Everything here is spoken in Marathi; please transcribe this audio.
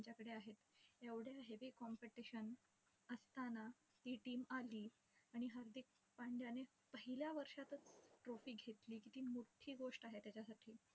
आमच्याकडे आहेत. एवढ्या heavy competition असताना ही team आली. आणि हार्दिक पंड्याने पहिल्या वर्षातचं trophy घेतली. किती मोठी गोष्ट आहे त्याच्यासाठी